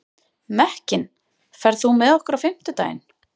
Mekkin, ferð þú með okkur á fimmtudaginn?